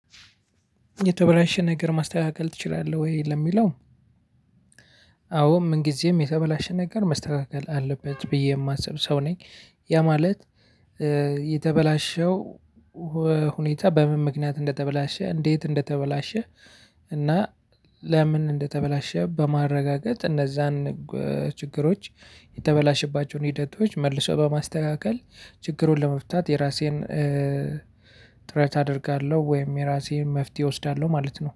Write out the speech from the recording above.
የተበላሸ ነገር ማስተካከል ትችላለህ ወይ ለሚለው? አዎ ምን ጊዜም የተበላሸ ነገር መስተካከል አለበት ብዬ የማስብ ሰው ነኝ። ያ ማለት የተበላሸው ሁኔታ በምን ምክንያት እንደተበላሸ እንዴት እንደተበላሸ። እና ለምን እንደተበላሸ በማረጋገጥ እነዛን ችግሮች የተበላሸባቸውን ሂደቶች መልሰው በማስተካከል ችግሩን ለመፍታት የራሴን ጥረት አደርጋለሁ። ወይም የራሴን መፍትሄ እወስዳለሁ ማለት ነው